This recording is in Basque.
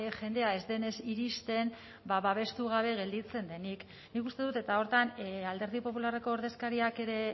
jendea ez denez iristen babestu gabe gelditzen denik nik uste dut eta horretan alderdi popularreko ordezkariak ere